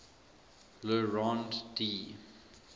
le rond d